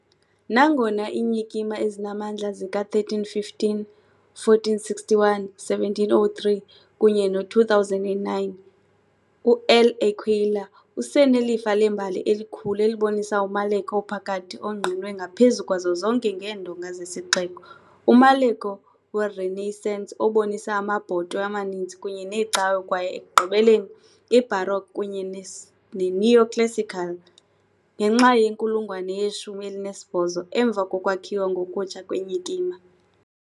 Nangona iinyikima ezinamandla zika 1315, 1461, 1703 kunye no 2009, uL'Aquila usenelifa lembali elikhulu elibonisa umaleko ophakathi ongqinwe ngaphezu kwazo zonke ngeendonga zesixeko, umaleko weRenaissance obonisa amabhotwe amaninzi kunye neecawe kwaye ekugqibeleni iBaroque kunye neoclassical . ngenxa yenkulungwane yeshumi elinesibhozo emva kokwakhiwa ngokutsha kwenyikima.